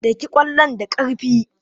Daki ƙwallon da ƙarfi!